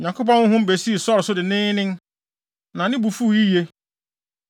Onyankopɔn honhom besii Saulo so denneennen. Na ne bo fuw yiye.